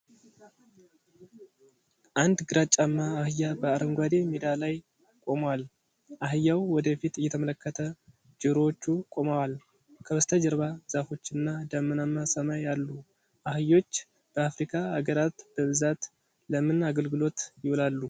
አንድ ግራጫማ አህያ በአረንጓዴ ሜዳ ላይ ቆሞል። አህያው ወደ ፊት እየተመለከተ፣ ጆሮዎቹ ቆመዋል። ከበስተጀርባ ዛፎችና ደመናማ ሰማይ አሉ። አህዮች በአፍሪካ አገራት በብዛት ለምን አገልግሎት ይውላሉ?